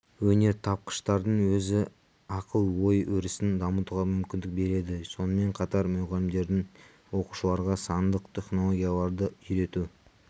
өнертапқыштардың өз ақыл-ой өрісін дамытуға мүмкіндік береді сонымен қатар мұғалімдердің де оқушыларға сандық технологияларды үйрету